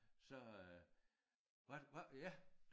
Så øh var var ja